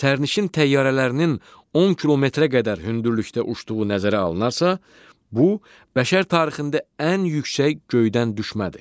Sərnişin təyyarələrinin 10 kilometrə qədər hündürlükdə uçduğu nəzərə alınarsa, bu bəşər tarixində ən yüksək göydən düşmədi.